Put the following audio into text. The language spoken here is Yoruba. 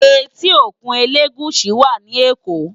Éti ókún Elegushi wá ni Ékó